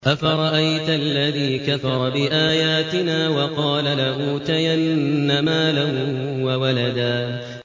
أَفَرَأَيْتَ الَّذِي كَفَرَ بِآيَاتِنَا وَقَالَ لَأُوتَيَنَّ مَالًا وَوَلَدًا